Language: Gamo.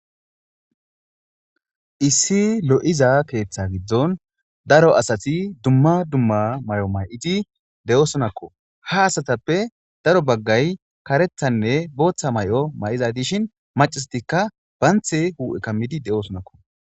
Issi loyiza keetha gidon daro asati dumma dumma mayo mayidi dosonakko haasatape daro bagay karethanne botha mayo mayzza dishin macatikka banti huphe kamidi deyosona